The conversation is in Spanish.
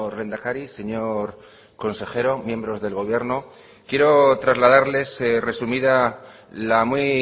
lehendakari señor consejero miembros del gobierno quiero trasladarles resumida la muy